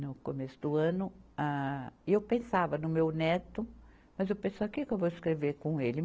no começo do ano, ah, eu pensava no meu neto, mas eu pensava, o que que eu vou escrever com ele?